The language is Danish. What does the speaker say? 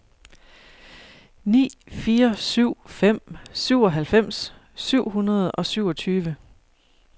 ni fire syv fem syvoghalvfems syv hundrede og syvogtyve